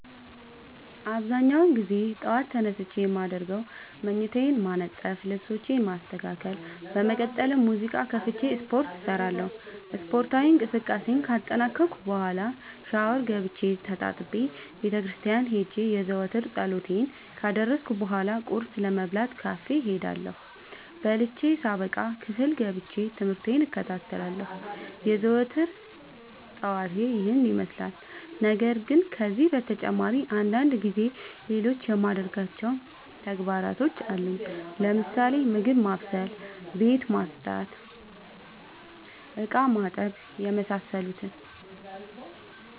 አብዛኛውን ግዜ ጠዎት ተነስቼ የማደርገው መኝታዬን ማነጠፍ ልብሶቼን ማስተካከል በመቀጠልም ሙዚቃ ከፍቼ ስፓርት እሰራለሁ ስፓርታዊ እንቅስቃሴን ካጠናቀቅኩ በኋ ሻውር ገብቼ ተጣጥቤ ቤተክርስቲያን ሄጄ የዘወትር ፀሎቴን ካደረስኩ በሏ ቁርስ ለመብላት ካፌ እሄዳለሁ። በልቼ ሳበቃ ክፍል ገብቼ። ትምህርቴን እከታተላለሁ። የዘወትር ጠዋቴ ይህን ይመስላል። ነገርግን ከነዚህ በተጨማሪ አንዳንድ ጊዜ ሌሎቹ የማደርጋቸው ተግባሮች አሉኝ ለምሳሌ፦ ምግብ ማብሰል፤ ቤት መፅዳት፤ እቃማጠብ የመሳሰሉት።